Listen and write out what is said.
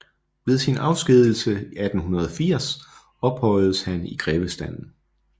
Ved sin afskedigelse 1880 ophøjedes han i grevestanden